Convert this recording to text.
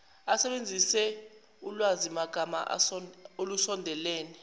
asebenzise ulwazimagama olusondelene